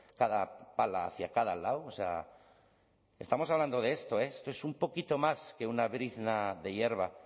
cada pala hacia cada lado o sea estamos hablando de esto eh esto es un poquito más que una brizna de hierba